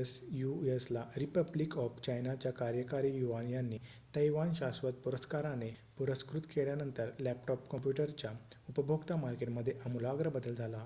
asus ला republic of चायनाच्या कार्यकारी युआन यांनी तैवान शाश्वत पुरस्काराने पुरस्कृत केल्यानंतर लॅपटॉप कम्प्युटरच्या उपभोक्ता मार्केटमध्ये आमूलाग्र बदल झाला